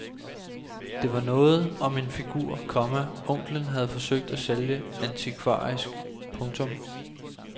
Det var noget om en figur, komma onklen havde forsøgt at sælge antikvarisk. punktum